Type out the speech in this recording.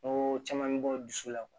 Ko caman bɛ bɔ dusu la